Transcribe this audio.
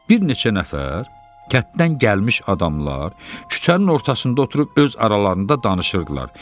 Bir neçə nəfər kənddən gəlmiş adamlar küçənin ortasında oturub öz aralarında danışırdılar.